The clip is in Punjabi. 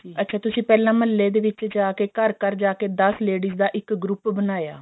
ਅੱਛਾ ਤੁਸੀਂ ਪਹਿਲਾਂ ਮਹਲੇ ਦੇ ਵਿੱਚ ਜਾਕੇ ਘਰ ਘਰ ਜਾਕੇ ਦਸ ladies ਦਾ ਇੱਕ group ਬਣਾਇਆ